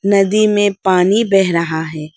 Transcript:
नदी में पानी बह रहा है।